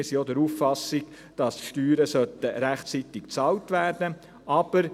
wir sind auch der Auffassung, dass die Steuern rechtzeitig bezahlt werden sollen.